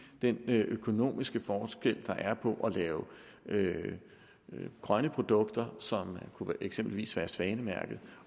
den økonomiske forskel der er på at lave grønne produkter som eksempelvis kunne være svanemærkede